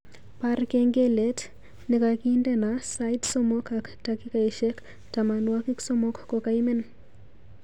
Baar kengelet negagindeno sait somok ak takikaishek tamanwogik somok kogaimen